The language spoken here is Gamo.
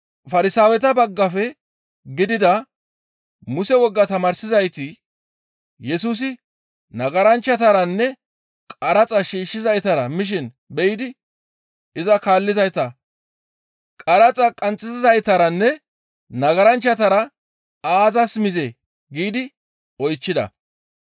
Farsaaweta baggafe gidida Muse woga tamaarsizayti Yesusi nagaranchchataranne qaraxa shiishshizaytara mishin be7idi iza kaallizayta, «Qaraxa qanxxisizaytaranne nagaranchchatara aazas mizee?» giidi oychchida.